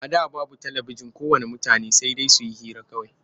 A da babu talabijin ko ways mutane sai dai su yi hira kawai.